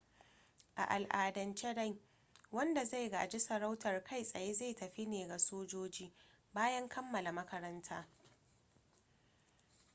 a al'adance dai wanda zai gaji sarautar kai tsaye zai tafi ne ga sojoji bayan kammala makaranta